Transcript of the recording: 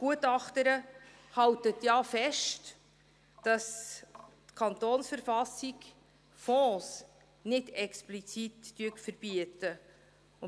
Die Gutachterin hält ja fest, dass die KV Fonds nicht explizit verbietet.